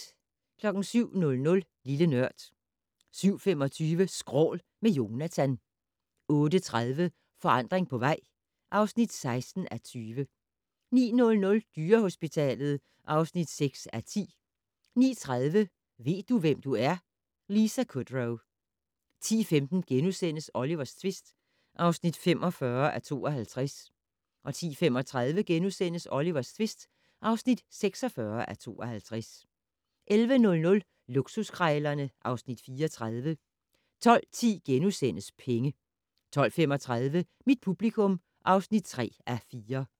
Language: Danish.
07:00: Lille Nørd 07:25: Skrål - med Jonatan 08:30: Forandring på vej (16:20) 09:00: Dyrehospitalet (6:10) 09:30: Ved du, hvem du er? - Lisa Kudrow 10:15: Olivers tvist (45:52)* 10:35: Olivers tvist (46:52)* 11:00: Luksuskrejlerne (Afs. 34) 12:10: Penge * 12:35: Mit publikum (3:4)